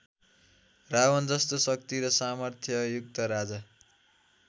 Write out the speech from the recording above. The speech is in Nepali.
रावणजस्तो शक्ति र सामर्थ्ययुक्त राजा